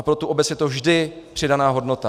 A pro tu obec je to vždy přidaná hodnota.